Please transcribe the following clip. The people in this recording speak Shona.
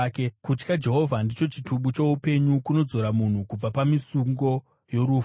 Kutya Jehovha ndicho chitubu choupenyu, kunodzora munhu kubva pamisungo yorufu.